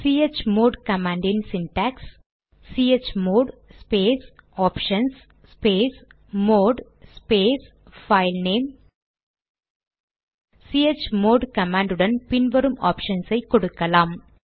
chmod command இன் syntax chmod space options space mode space filename chmod command உடன் பின் வரும் ஆப்ஷன்ஸ் ஐ கொடுக்கலாம்